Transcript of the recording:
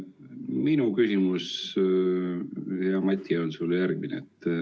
Minu küsimus, hea Mati, on sulle järgmine.